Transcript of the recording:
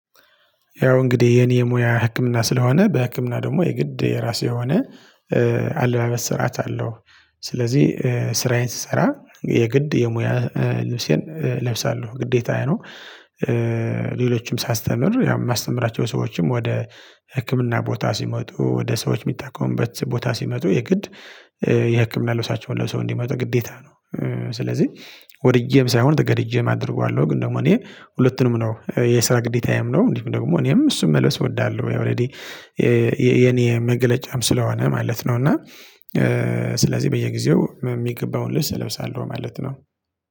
ያው እንግዲህ የኔ የሙያ ህክምና ስለሆነ በህክምና ደግሞ የግድ የራሴ የሆነ አለባበስ ስርዓት አለው። ስለዚህ ስራዬን ስሰራ የግድ የሙያ ልብሴን እለብሳለሁ ግዴታዬ ነው። ሌሎችም ሳስተምር ያው የማስተምራቸው ሰዎችም ወደ ህክምና ቦታ ሲመጡ ወደ ሰዎች የሚታከሙበት ቦታ ሲመጡ የግድ የህክምና ልብሳቸውን ለብሰው እንዲመጡ ግዴታ ነው። ስለዚህ ወድጄም ሳይሆን ተገድጄም አደርገዋለሁ። ግን ደግሞ እኔ ሁለቱንም ነው የስራ ግዴታዬም ነው እንዲሁም ደግሞ እኔም እሱን መልበስ እወዳለሁ። ያው ኦሬዲ የኔ መገለጫም ስለሆነ ማለት ነው። እና ስለዚህ በየጊዜው የሚገባውን ልብስ እለብሳለሁ ማለት ነው